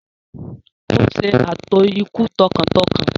Ó ṣe ààtò ikú tọkàntọkàn.